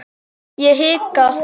Ég hika.